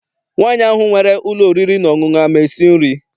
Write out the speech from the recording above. Nwaanyi ahụ nwere ụlọ oriri na ọṅụṅụ ama esi nri?